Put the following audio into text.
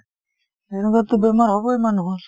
এনেকুৱাততো বেমাৰ হবয়ে মানুহৰ